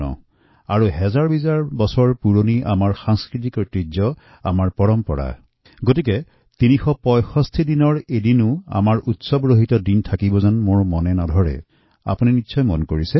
আমাৰ সাংস্কৃতিক ঐতিহ্য হাজাৰ বছৰ পুৰণি সাংস্কৃতিক পৰম্পৰা সামাজিক ৰীতিনীতি ঐতিহাসিক ঘটনাৱলী লক্ষ্য কৰিলে আমি দেখো যে ৩৬৫ দিনৰ প্ৰায় প্ৰত্যেক দিনেই আমাৰ জীৱন উৎসৱময় হৈ থাকে